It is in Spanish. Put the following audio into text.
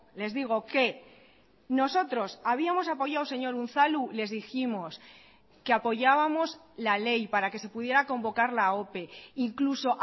les digo que nosotros habíamos apoyado señor unzalu la ley para que se pudiera convocar la ope incluso